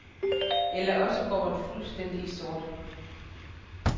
Eller også går man fuldstændig i sort.